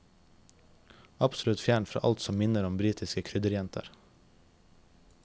Absolutt fjernt fra alt som minner om britiske krydderjenter.